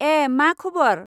ऐ मा खबर?